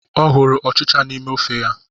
Ọ hụrụ ọchịcha n'ime ofe ya.